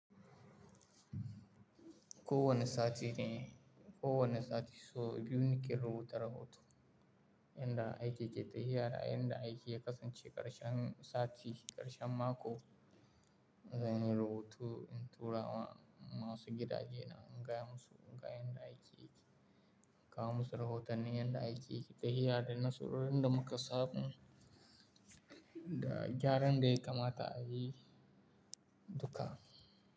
Ko wani sati ne, ko wani sati so biyu ni ke rubuta rahoto. Yanda aiki ke tahiya da yanda aiki ya kasance ƙarshen sati, ƙarshen mako zan yi rubutu in tura wa masu gidaje na in gaya musu, ga yanda aiki yake. Kawo musu rahotanni yanda aiki yake tahiya da nasarorin da muka samu da gyaran da ya kamata a yi duka.